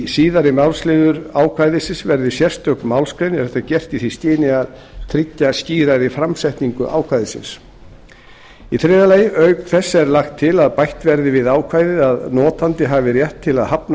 síðari málsliður ákvæðisins verði sérstök málsgrein er þetta gert í því skyni að tryggja skýrari framsetningu ákvæðisins þriðja auk þess er lagt til að bætt verði við ákvæðið að notandi hafi rétt til að hafna